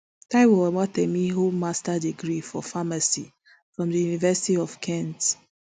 taiwo owatemi hold master degree for pharmacy from di university of kent